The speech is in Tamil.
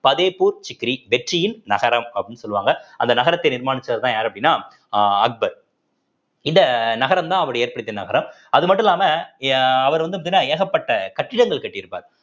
ஃபத்தேப்பூர் சிக்ரி வெற்றியின் நகரம் அப்படின்னு சொல்லுவாங்க அந்த நகரத்தை நிர்மானிச்சவர் தான் யாரு அப்படின்னா அஹ் அக்பர் இந்த நகரம்தான் அப்படி ஏற்படுத்திய நகரம் அது மட்டும் இல்லாம அவர் வந்து எப்படின்னா ஏகப்பட்ட கட்டிடங்கள் கட்டியிருப்பார்